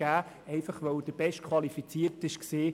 Er wurde gewählt, weil er der Bestqualifizierte war.